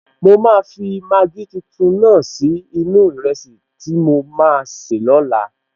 Mo máa fi Maggi tuntun náà sí inú-u ìrẹsì tí mo maa sè lóla